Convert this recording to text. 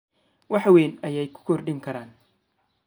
wax weyn ayay ku kordhin karaan: